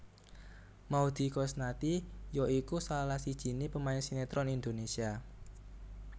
Maudy Koesnaedi ya iku salah sijiné pemain sinetron Indonesia